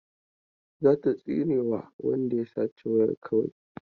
Za ta tsinewa wanda ya sace wayar kawai.